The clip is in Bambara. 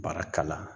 Baara kala